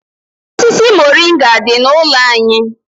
Osisi moringa dị n'ụlọ anyị.